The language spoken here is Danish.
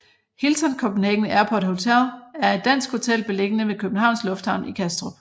Hilton Copenhagen Airport Hotel er et dansk hotel beliggende ved Københavns Lufthavn i Kastrup